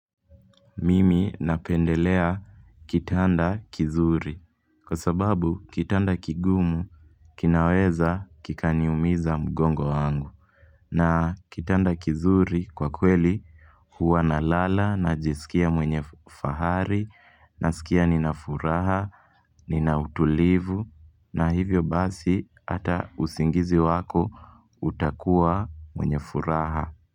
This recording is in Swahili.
Mimi napendelea kitanda kizuri Kwa sababu kitanda kigumu kinaweza kikaniumiza mgongo wangu na kitanda kizuri kwa kweli huwa na lala na jisikia mwenye fahari na sikia nina furaha Nina utulivu na hivyo basi ata usingizi wako utakuwa wenye furaha.